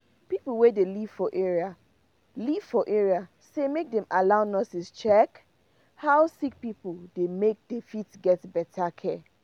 pipo wey dey live for area live for area say make dem allow nurses check how sick pipo dey make they fit get better care.